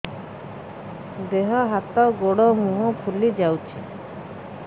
ଦେହ ହାତ ଗୋଡୋ ମୁହଁ ଫୁଲି ଯାଉଛି